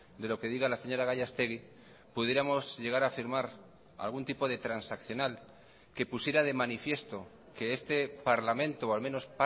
de lo que diga la señora gallastegui pudiéramos llegar a firmar algún tipo de transaccional que pusiera de manifiesto que este parlamento o al menos